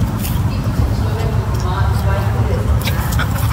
Tipičen človek jih ima dvaintrideset, ne?